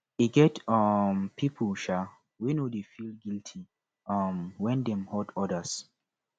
e get um pipu um wey no dey feel guity um wen dem hurt odas